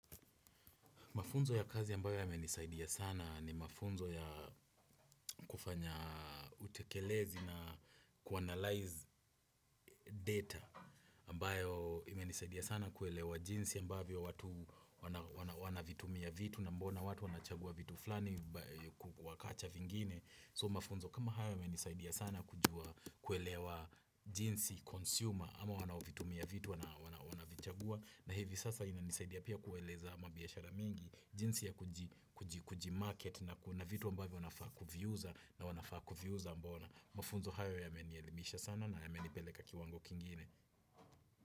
Mafunzo ya kazi ambayo yame nisaidia sana ni mafunzo ya kufanya utekelezi na kuanalyze data ambayo imenisaidia sana kuelewa jinsi ambayo watu wanavitumia vitu na mbona watu wanachagua vitu fulani huku kuacha vingine. So mafunzo kama haya yame nisaidia sana kujua kuelewa jinsi consumer ama wanavitumia vitu wanavichagua na hivi sasa ina nisaidia pia kueleza mabiashara mingi. Jinsi ya kujimarket na kuna vitu ambavyo wanafaa kuvuuza na wanafaa kuviuza mbona. Mfuzo hayo yamenielimisha sana na yamenipeleka kiwango kingine.